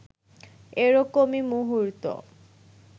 এরকমই মুহূর্ত